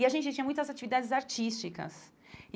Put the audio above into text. E a gente tinha muitas atividades artísticas e.